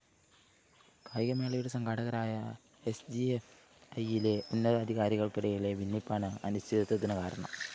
കായികമേളയുടെ സംഘാടകരായ എസ്ജിഎഫ്‌ഐയിലെ ഉന്നതാധികാരികള്‍ക്കിടയിലെ ഭിന്നിപ്പാണ് അനിശ്ചിതത്വത്തിന് കാരണം